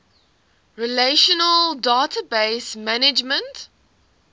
relational database management